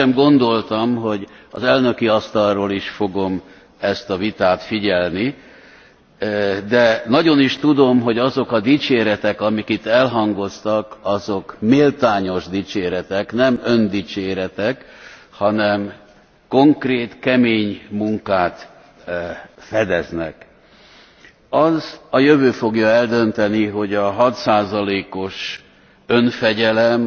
Sosem gondoltam, hogy az elnöki asztalról is fogom ezt a vitát figyelni, de nagyon is tudom, hogy azok a dicséretek, amik itt elhangoztak, azok méltányos dicséretek. Nem öndicséretek, hanem konkrét, kemény munkát fedeznek. Azt a jövő fogja eldönteni, hogy a 6 os önfegyelem